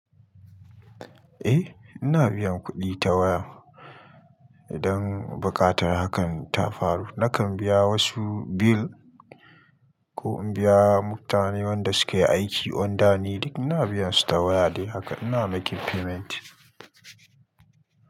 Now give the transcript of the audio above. Eh ina biyan kuɗi ta waya idan buƙatar hakan ta faru. Nakan biya wasu bill ko in biya mutane wanda suke aiki under ni duk ina biyan su ta waya dai haka. Ina making payment.